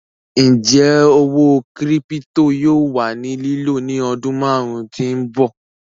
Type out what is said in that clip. Ńjẹ̀ òwó kírípítò yóò wà ní lìló ní ọdún máàrùn tí n bọ̀?